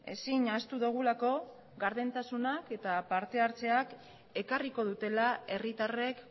ezin ahaztu dugulako gardentasunak eta parte hartzeak ekarriko dutela herritarrek